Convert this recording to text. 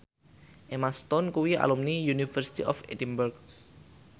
Emma Stone kuwi alumni University of Edinburgh